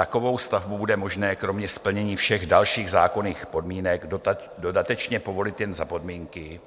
Takovou stavbu bude možné kromě splnění všech dalších zákonných podmínek dodatečně povolit jen za podmínky,